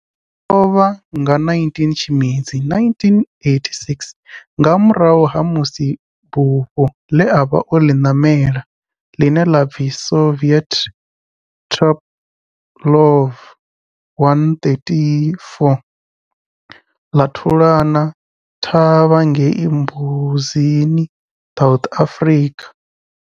O lovha nga 19 Tshimedzi 1986 nga murahu ha musi bufho le a vha o li namela, line la pfi Soviet Tupolev 134 la thulana thavha ngei Mbuzini, South Africa.